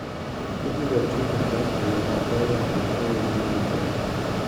ibiro ti godo e yo maber kendo e yo mowinjore.